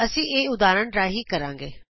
ਅਸੀਂ ਇਹ ਉਦਾਹਰਣ ਰਾਹੀਂ ਕਰਾਂਗੇ